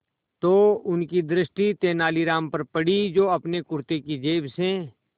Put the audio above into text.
तो उनकी दृष्टि तेनालीराम पर पड़ी जो अपने कुर्ते की जेब से